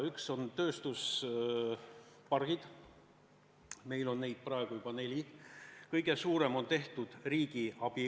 Üks on tööstuspargid, neid on meil praegu juba neli, kõige suurem on tehtud riigi abiga.